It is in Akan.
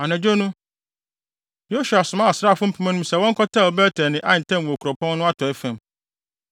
Anadwo no, Yosua somaa asraafo mpem anum sɛ wɔnkɔtɛw Bet-El ne Ai ntam wɔ kuropɔn no atɔe fam.